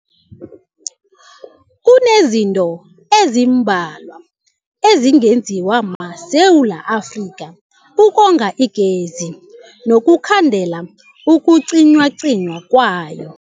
Kunezinto ezimbalwa ezingenziwa maSewula Afrika ukonga igezi nokukhandela ukucinywacinywa kwayo.